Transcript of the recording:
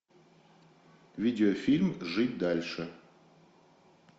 видеофильм жить дальше